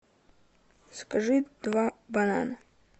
закажи два банана